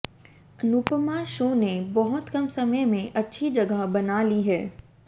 Anupama show ने बहुत कम समय में अच्छी जगह बना ली है